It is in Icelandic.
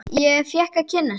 Ég fékk að kynnast því.